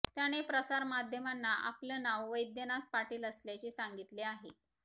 त्याने प्रसारमाध्यमांना आपलं नाव वैद्यनाथ पाटील असल्याचे सांगितले आहे